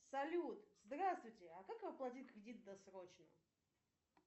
салют здравствуйте а как оплатить кредит досрочно